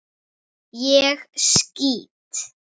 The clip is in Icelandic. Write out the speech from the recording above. Ég skýt!